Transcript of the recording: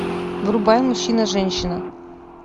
врубай мужчина женщина